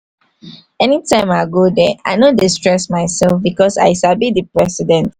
anytime i go there i no dey stress my self because i sabi the president